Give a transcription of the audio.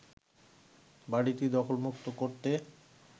বড়িটি দখলমুক্ত করতে